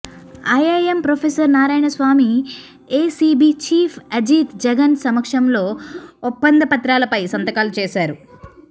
IIM professor Narayanaswamy ACB chief Ajit Jagan సమక్షంలో ఒప్పంద పత్రాలపై సంతకాలు చేశారు